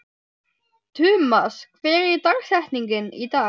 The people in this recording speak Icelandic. Tumas, hver er dagsetningin í dag?